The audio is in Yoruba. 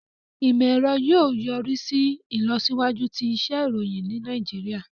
Imọ-ẹrọ yóò yorisi ilọsiwaju ti iṣẹ iroyin ni Nàìjíríà.